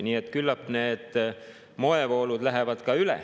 Nii et küllap need moevoolud lähevad ka üle.